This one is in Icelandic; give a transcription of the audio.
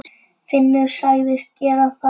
Finnur sagðist gera það.